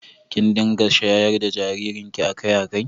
Kin dinga shayar da jaririnki a kai a kai